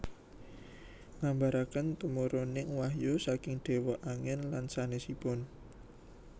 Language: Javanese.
Nggambaraken tumuruning wahyu saking déwa angin lan sanésipun